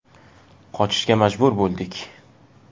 Qochishga majbur bo‘ldik.